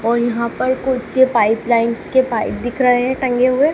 और यहां पर कुछ पाइप लाइंस के पाइप दिख रहे हैं टंगे हुए।